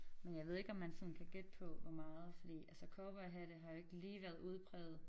Men jeg ved ikke om man sådan kan gætte på hvor meget fordi altså cowboyhatte har jo ikke lige været udprægede